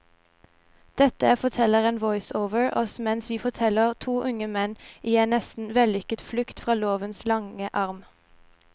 Dette forteller en voiceover oss mens vi følger to unge menn i en nesten vellykket flukt fra lovens lange arm.